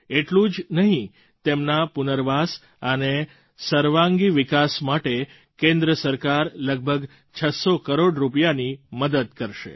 એટલું જ નહીં તેમના પુનર્વાસ અને સર્વાંગી વિકાસ માટે કેન્દ્ર સરકાર લગભગ 600 કરોડ રૂપિયાની મદદ કરશે